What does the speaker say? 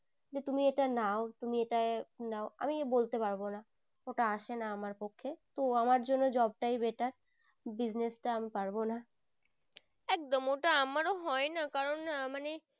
যে তুমি এটা নাও তুমি এটা নাও আমি বলতে পারবো না ওটা আসেনা আমার পক্ষে তো আমার জন্য job টাই better business টা আমি পারবো না। একদম ওটা আমারো হয় না কারণ আহ মানে